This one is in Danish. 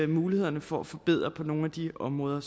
mulighed for at forbedre noget på nogen af de områder